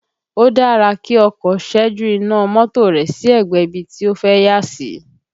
Ó dára kí ọkọ ṣẹ́jú iná mọ́tò rẹ̀ sí ẹ̀gbẹ́ ibi tí ó fẹ́ yà sí